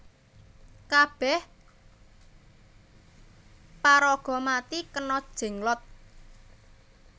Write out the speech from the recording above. Kabeh paraga mati kena Jenglot